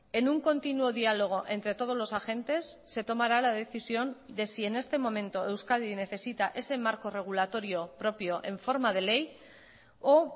en un continuo diálogo entre todos los agentes se tomará la decisión de si en este momento euskadi necesita ese marco regulatorio propio en forma de ley o